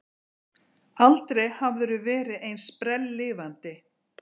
Aldrei hafðirðu verið eins sprelllifandi.